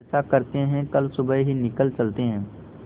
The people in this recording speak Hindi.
ऐसा करते है कल सुबह ही निकल चलते है